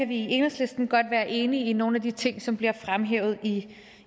vi i enhedslisten godt være enige i nogle af de ting som bliver fremhævet i